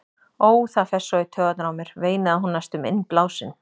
Ó, það fer svo í taugarnar á mér, veinaði hún næstum innblásin.